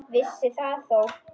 Vissi það þó.